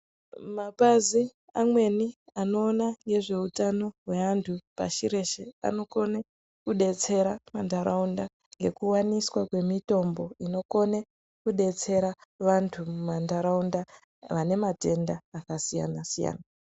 Mapazi amweni anoona ngezveutano weantu pashi reshe anokone kudetsera mantaraunda ngekuwaniswa kwemutombo unokone kudetsera vantu vane matenda akasiyana siyana.